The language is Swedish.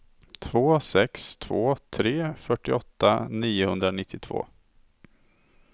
två sex två tre fyrtioåtta niohundranittiotvå